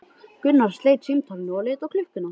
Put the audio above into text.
Gunnar sleit samtalinu og leit á klukkuna.